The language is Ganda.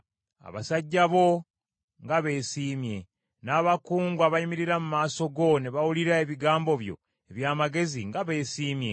Abasajja bo nga beesiimye! N’abakungu abayimirira mu maaso go ne bawulira ebigambo eby’amagezi nga beesiimye!